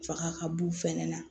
Faga ka b'u fɛnɛ na